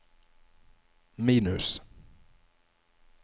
minus